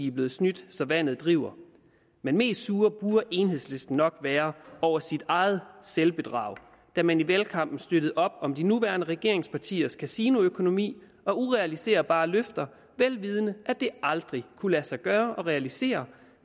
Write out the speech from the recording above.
er blevet snydt så vandet driver men mest sur burde enhedslisten nok være over sit eget selvbedrag da man i valgkampen støttede op om de nuværende regeringspartiers kasinoøkonomi og urealiserbare løfter vel vidende at det aldrig kunne lade sig gøre at realisere